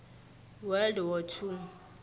world war two